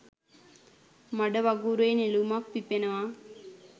මඩ වගුරේ නෙළුමක් පිපෙනවා.